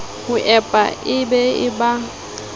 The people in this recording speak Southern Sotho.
ho ewp e be ba